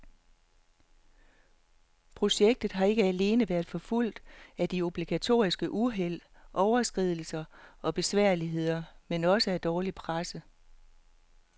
Projektet har ikke alene været forfulgt af de obligatoriske uheld, overskridelser og besværligheder, men også af dårlig presse.